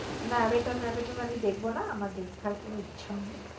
না অবতার ফাবেটের আমি দেখবনা আমার দেখার কোনো ইচ্ছাও নেই